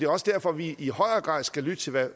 også derfor vi i højere grad skal lytte til hvad